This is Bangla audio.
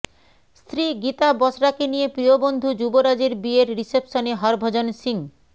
স্ত্রী গীতা বসরাকে নিয়ে প্রিয় বন্ধু যুবরাজের বিয়ের রিসেপশনে হরভজন সিংহ